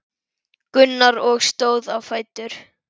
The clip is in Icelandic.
Gunnar og stóð á fætur.